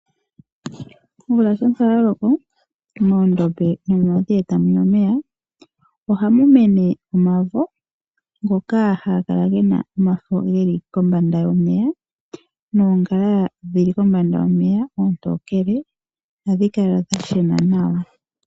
Omvula shampa yaloko moondombe nomomadhiya eta muya omeya ohamu mene omavo ngoka haga kala gena omafo geli kombanda yomeya, noongala dhili kombanda yomeya oontokele. Ohadhi kala dha shena nawa.